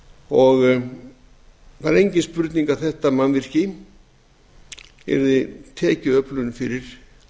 og það er engin spurning að þetta mannvirki yrði tekjuöflun fyrir